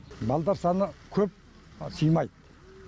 балдар саны көп сыймайды